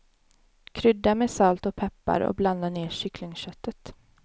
Krydda med salt och peppar och blanda ner kycklingköttet.